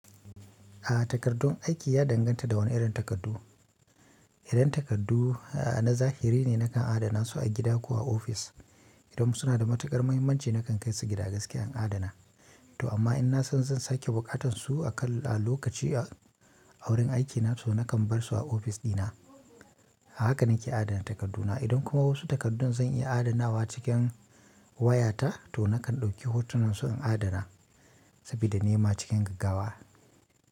A'a takardun aiki ya danganta da wani irin takardu. Idan takardu a'a na zahiri ne nakan adana su a gida ko a ofis. Idan suna da matukar muhimmanci nakan kai su gida gaskiyan adana. To amma in na san zan sake buƙatan su a kan a lokaci a wurin aikina to nakan bar su a ofis dina. Haka nake adana takarduna. Idan kuma wasu takardun zan iya adanawa cikin wayata to nakan ɗauki hotunan su in adana sabida nema cikin gaggawa.